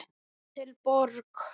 Hótel Borg.